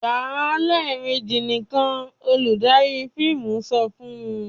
"Yà á lẹ́ẹ̀mejì nìkan!" Olùdarí fíìmù sọ fun..